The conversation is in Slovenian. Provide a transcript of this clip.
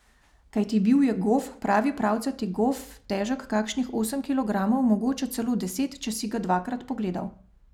Kajti bil je gof, pravi pravcati gof, težek kakšnih osem kilogramov, mogoče celo deset, če si ga dvakrat pogledal.